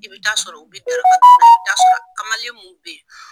I bɛ taa sɔrɔ u bɛ daraka dun na i bɛ taa sɔrɔ kamalen mun bɛ ye.